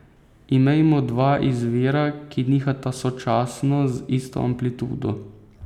Imejmo dva izvira, ki nihata sočasno, z isto amplitudo.